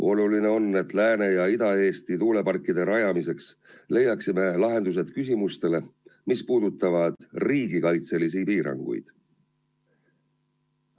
Oluline on, et Lääne- ja Ida-Eesti tuuleparkide rajamiseks leiaksime lahendused küsimustele, mis puudutavad riigikaitselisi piiranguid.